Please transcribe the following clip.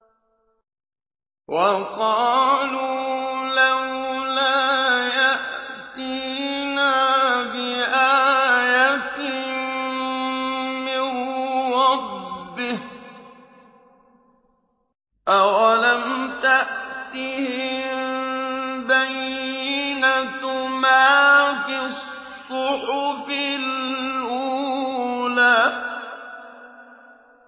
وَقَالُوا لَوْلَا يَأْتِينَا بِآيَةٍ مِّن رَّبِّهِ ۚ أَوَلَمْ تَأْتِهِم بَيِّنَةُ مَا فِي الصُّحُفِ الْأُولَىٰ